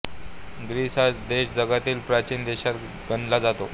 Greece हा देश जगातील प्राचीन देशात गणला जातो